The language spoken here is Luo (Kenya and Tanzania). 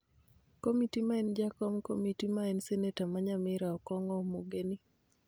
Komiti ma en jakom komiti ma en seneta ma Nyamira, Okong'o Omogeni